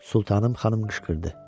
Sultanım xanım qışqırdı: